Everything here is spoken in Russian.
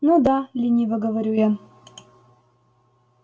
ну да лениво говорю я